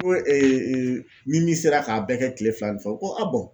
Ko ni min sera k'a bɛɛ kɛ tile fila ni fɛ o ko a